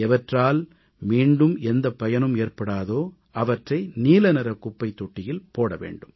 எவற்றால் மீண்டும் எந்தப் பயனும் ஏற்படாதோ அவற்றை நீலநிறக் குப்பைத் தொட்டியில் போட வேண்டும்